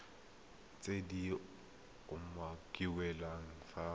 tse di umakiliweng fa godimo